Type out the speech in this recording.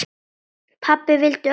Pabbi vildi öllum vel.